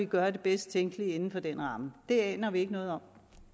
gøre det bedst tænkelige inden for den ramme det aner vi ikke noget om